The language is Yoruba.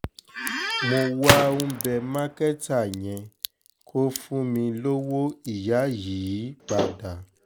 mo wá ń bẹ́ mákẹ́tà yẹn kó fún mi lọ́wọ́ ìyá yìí padà